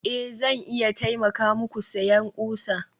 a, Zan iya taimaka muku siyan ƙusa